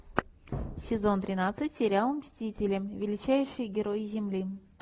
сезон тринадцать сериал мстители величайшие герои земли